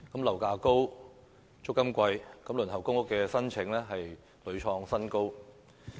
樓價高，租金貴，輪候公屋的申請亦屢創新高。